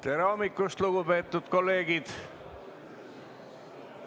Tere hommikust, lugupeetud kolleegid!